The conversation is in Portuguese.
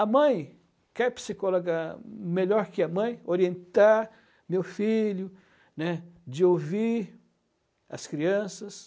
A mãe quer psicóloga melhor que a mãe, orientar meu filho, né, de ouvir as crianças.